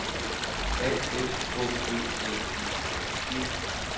A F K Ø L I N G